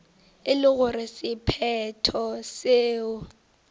e le gore sephetho seo